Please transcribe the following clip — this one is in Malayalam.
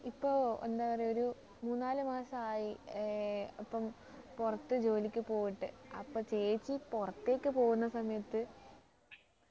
ഇപ്പൊ എന്താ പറയുക ഒരു മൂന്നാലു മാസമായി ഏർ ഇപ്പം പുറത്തു ജോലിക്ക് പോയിട്ട് അപ്പൊ ചേച്ചി പുറത്തേക്ക് പോകുന്ന സമയത്ത്